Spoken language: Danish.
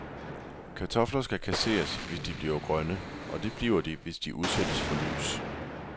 Kartofler skal kasseres, hvis de bliver grønne, og det bliver de, hvis de udsættes for lys.